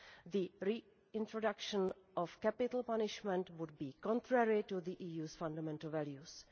The reintroduction of capital punishment would be contrary to the EU's fundamental values.